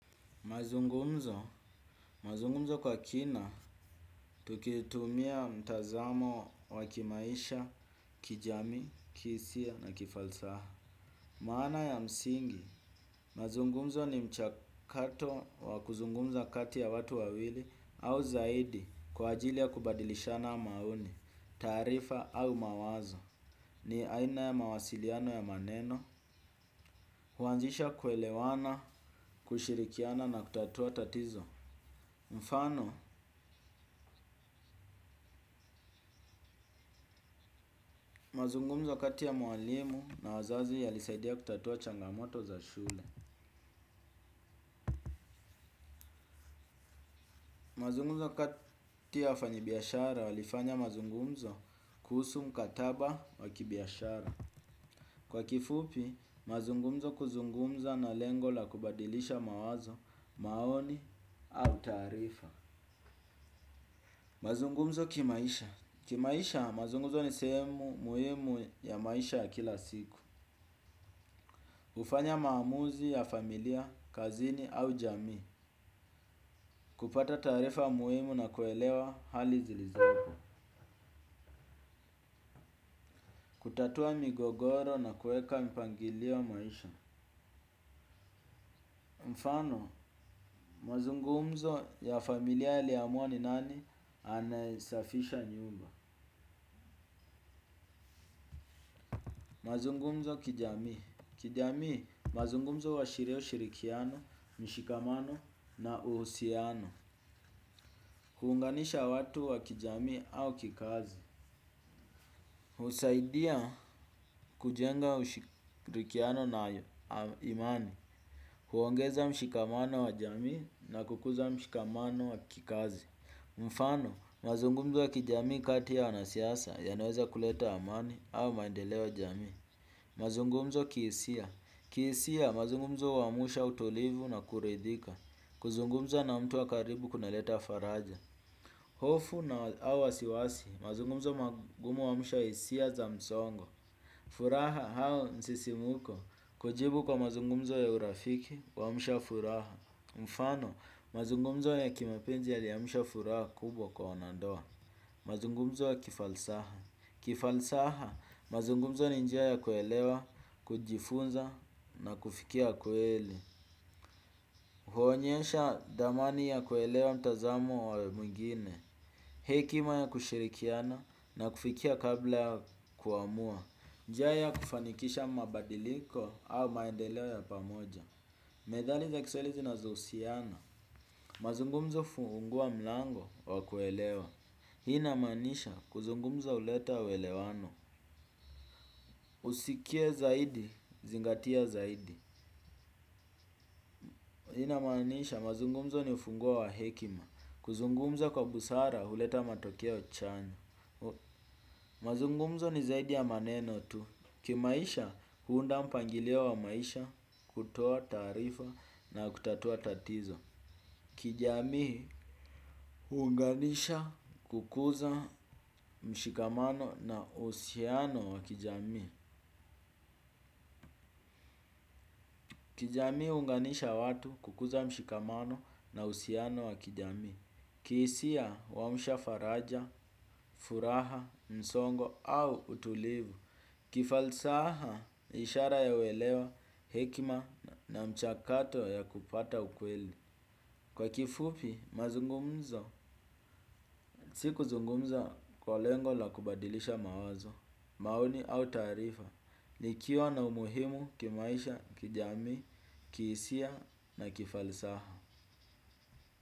Mazungumzo, mazungumzo kwa kina, tukitumia mtazamo wa kimaisha, kijamii, kihisia na kifalsaha. Maana ya msingi, mazungumzo ni mchakato wa kuzungumza kati ya watu wawili au zaidi kwa ajili ya kubadilishana maoni, taarifa au mawazo. Ni aina ya mawasiliano ya maneno, huanzisha kuelewana, kushirikiana na kutatua tatizo. Mfano, mazungumzo kati ya mwalimu na wazazi yalisaidia kutatua changamoto za shule. Mazungumzo kati ya wafanyibiashara walifanya mazungumzo kuhusu mkataba wakibiashara. Kwa kifupi, mazungumzo kuzungumza na lengo la kubadilisha mawazo, maoni au taarifa. Mazungumzo kimaisha. Kimaisha, mazungumzo ni sehemu muhimu ya maisha ya kila siku. Hufanya maamuzi ya familia, kazini au jamii. Kupata taarifa muhimu na kuelewa hali zilizopo. Kutatua migogoro na kuweka mpangilio wa maisha. Mfano, mazungumzo ya familia yaliamua ni nani anayesafisha nyumba. Mazungumzo kijamii. Kijamii, mazungumzo huashiria ushirikiano, mshikamano na uhusiano. Kuunganisha watu wa kijamii au kikazi. Husaidia kujenga ushikirikiano na imani. Huongeza mshikamano wa jamii na kukuza mshikamano wa kikazi. Mfano, mazungumzo wa kijamii kati ya wanasiasa yanaweza kuleta amani au maendeleo ya jamii. Mazungumzo kihisia, kihisia, mazungumzo huamsha utulivu na kuridhika. Kuzungumza na mtu wa karibu kunaleta faraja. Hofu na au wasiwasi, mazungumzo magumu huamsha hisia za msongo. Furaha au msisimko, kujibu kwa mazungumzo ya urafiki huamsha furaha. Mfano, mazungumzo ya kimapenzi yaliamsha furaha kubwa kwa wanandoa. Mazungumzo ya kifalsaha. Kifalsaha, mazungumzo ni njia ya kuelewa, kujifunza na kufikia kweli. Huonyesha dhamani ya kuelewa mtazamo wa mwingine. Hekima ya kushirikiana na kufikia kabla ya kuamua. Njia ya kufanikisha mabadiliko au maendeleo ya pamoja. Methali za kiswahili zinazohusiana. Mazungumzo hufungua mlango wa kuelewa. Hii inamaanisha kuzungumza huleta uelewano. Usikie zaidi, zingatia zaidi. Hii inamaanisha mazungumzo ni ufunguo wa hekima. Kuzungumza kwa busara huleta matokeo chanya. Mazungumzo ni zaidi ya maneno tu. Kimaisha huunda mpangilio wa maisha kutoa taarifa na kutatua tatizo. Kijamii huunganisha kukuza mshikamano na uhusiano wa kijamii. Kijamii huunganisha watu kukuza mshikamano na uhusiano wa kijamii, kihisia huamsha faraja, furaha, msongo au utulivu. Kifalsaha, ishara ya uelewa, hekima na mchakato ya kupata ukweli. Kwa kifupi, mazungumzo. Si kuzungumza kwa lengo la kubadilisha mawazo, maoni au taarifa. Likiwa na umuhimu kimaisha, kijamii, kihisia na kifalsaha.